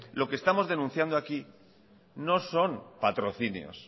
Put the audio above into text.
lo que estamos denunciando aquí no son patrocinios